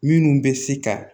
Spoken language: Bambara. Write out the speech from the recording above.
Minnu bɛ se ka